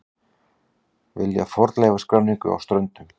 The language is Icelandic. Vilja fornleifaskráningu á Ströndum